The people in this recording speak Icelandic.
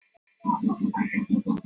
Hebba, hvernig kemst ég þangað?